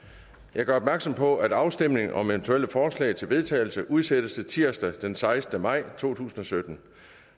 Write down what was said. jeg gør opmærksom på at afstemning om eventuelle forslag til vedtagelse udsættes til tirsdag den sekstende maj to tusind og sytten